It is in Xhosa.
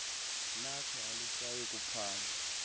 lakho alisayi kuphandwa